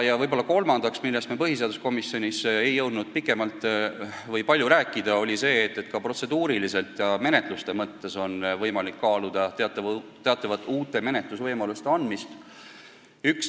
Ja kolmandaks üks teema, millest me põhiseaduskomisjonis ei jõudnud pikemalt rääkida: võiks ehk kaaluda uute menetlusvõimaluste andmist.